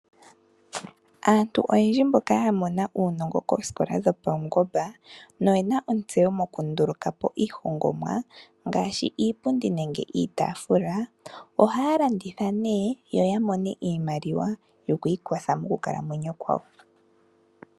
Aantu oyendji mboka yamona uunongo koosikola dhapaungomba noyena ontseyo mokundulukapo iihongomwa ngaashi Iipundi nenge iitaafula, ohaya landitha opo yamone iimaliwa opo yiikwathe moonkalamwenyo dhawo.